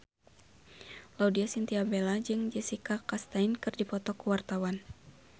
Laudya Chintya Bella jeung Jessica Chastain keur dipoto ku wartawan